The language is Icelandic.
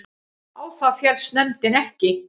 Á það féllst nefndin ekki